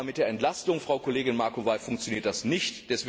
Aber mit der Entlastung, Frau Kollegin Macovei, funktioniert das nicht.